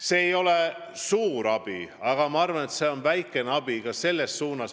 See ei ole suur abi, aga vähemalt väikene abi.